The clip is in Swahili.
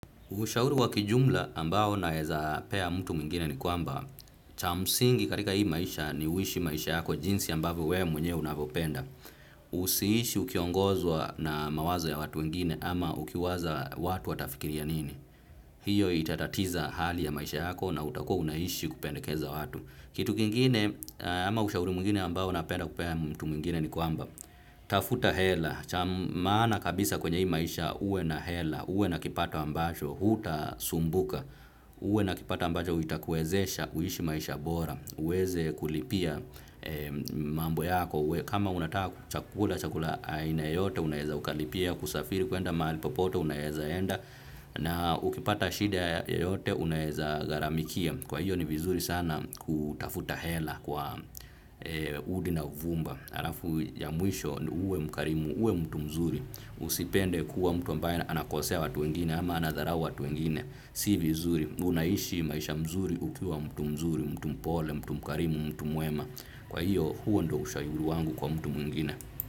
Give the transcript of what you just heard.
Ushauri kwa kijumla ambao naeza pea mtu mwingine ni kwamba, cha msingi katika hii maisha ni uishi maisha yako jinsi ambavo we mwenyewe unavopenda. Usiishi ukiongozwa na mawazo ya watu wengine ama ukiwaza watu watafikiria nini. Hiyo itatatiza hali ya maisha yako na utakuwa unaishi kupendekeza watu. Kitu kingine ama ushauri mwingine ambao napea mtu mwingine ni kwamba, tafuta hela. Maana kabisa kwenye hii maisha uwe na hela, uwe na kipato ambacho, hutasumbuka, uwe na kipato ambacho itakuwezesha, uishi maisha bora, uweze kulipia mambo yako, kama unataka chakula aina yote unaeza ukalipia, kusafiri kuenda mali popote unaeza enda, na ukipata shida yoyote unaeza gharamikia, kwa hiyo ni vizuri sana kutafuta hela kwa udi na uvumba. Harafu ya mwisho ni, uwe mkarimu, uwe mtu mzuri, usipende kuwa mtu ambae anakosea watu wengine ama anadharau watu wengine, si vizuri, unaishi maisha mzuri ukiwa mtu mzuri, mtu mpole, mtu mkarimu, mtu mwema, kwa hiyo huo ndo ushauri wangu kwa mtu mwingine.